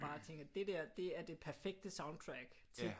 Bare tænker det der det er det perfekte soundtrack til